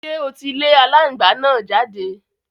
Ṣé o ti lé alángbàá náà jáde?